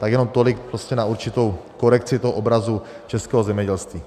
Tak jenom tolik prostě na určitou korekci toho obrazu českého zemědělství.